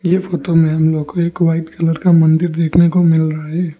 यह फोटो में हम लोग को एक व्हाइट कलर का मंदिर देखने को मिल रहा है।